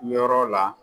Yɔrɔ la